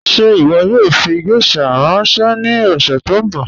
Ṣẹ iwọ yoo fi gẹ̀shà ranṣẹ ni ọ̀ṣẹ̀ tó nbọ?